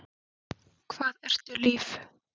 Hvað ertu líf?